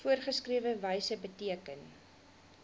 voorgeskrewe wyse beteken